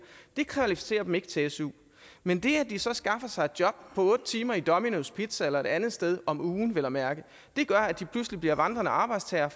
det kvalificerer dem ikke til su men det at de så skaffer sig et job på otte timer i dominos pizza eller et andet sted om ugen vel at mærke gør at de pludselig bliver vandrende arbejdstagere